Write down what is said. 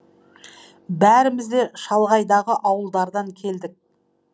бәріміз де шалғайдағы ауылдардан келдік